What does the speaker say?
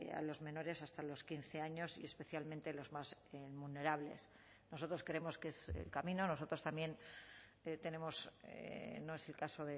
a los menores hasta los quince años y especialmente los más vulnerables nosotros creemos que es el camino nosotros también tenemos no es el caso